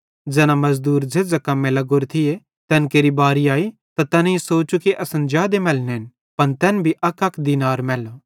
ज़ैना मज़दूर झ़ेझ़ां कम्मे लग्गोरे थिये तैन केरि बारी आई त तैनेईं सोचू कि असन जादे मैलनेन पन तैन भी अकअक दीनार मैल्लो